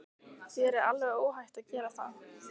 Þér er alveg óhætt að gera það!